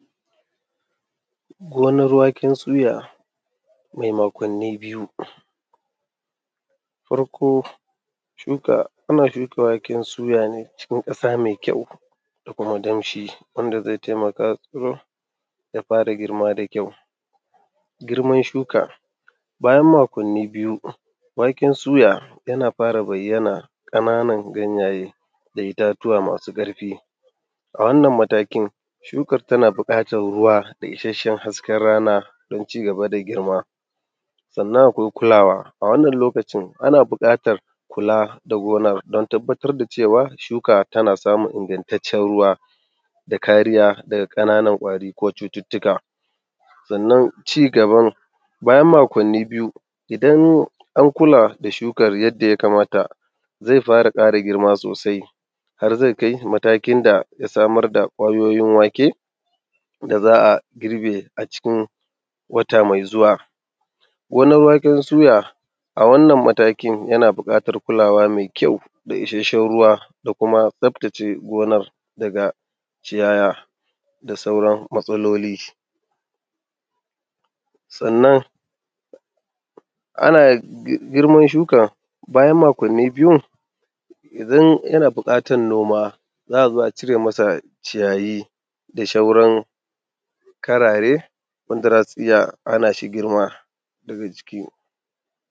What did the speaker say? Gonar waken suya mai makwanni biyu, farko shuka, ana shuka waken suya cikin ƙasa mai ƙyau da kuma: danshi wanda zai taimaka ya tsiro da girma da ƙyau. Girman shuka bayan makwanni biyu waken suya yana fara bayyana ƙanana ganyaye da itatuwa masu karfi, a wannan matakin shukar tana buƙatar ruwa da kuma isasshen hasken rana don ci gaba da girma. sannan akwai kulawa a wannan lokacin ana buƙatar kula shuka tana samun ingantaccen ruwa tare da kariya daga ƙananan ƙwari ko cututtukan sannan ci gaban bayan makwanni biyu an kula da shukar yadda ya kamata har zai kai matakin da zai samar da kwayoyi wake da za a girbe a cikin wata mai zuwa. Gonar waken suya a wannan mataki yana bukatar kula mai ƙyau da isasshen ruwan da kuma tsaftace gonar daga ciyawa da sauran matsaloli sannan ana girman shukar bayan makwanni biyun idan yana buƙatar noma za a zo a cire mai ciyayi da sauran karare waɗanda za su hana shi girma daga ciki.